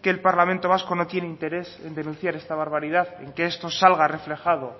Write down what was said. que el parlamento vasco no tiene interés en denunciar esta barbaridad y que esto salga reflejado